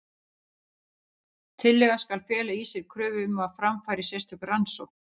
Tillagan skal fela í sér kröfu um að fram fari sérstök rannsókn.